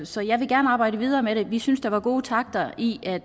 så jeg vil gerne arbejde videre med det vi synes der var gode takter i